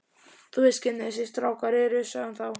Þú veist hvernig þessir strákar eru sagði hún þá.